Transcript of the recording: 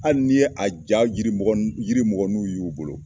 Hali n'i ye a ja yirimɔgɔninw ye u bolo